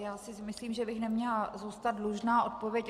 Já si myslím, že bych neměla zůstat dlužna odpověď.